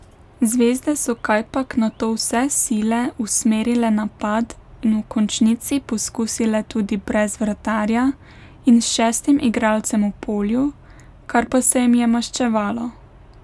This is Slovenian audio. Zvezde so kajpak nato vse sile usmerile napad in v končnici poskusile tudi brez vratarja in s šestim igralcem v polju, kar pa se jim je maščevalo.